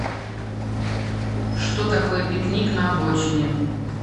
что такое пикник на обочине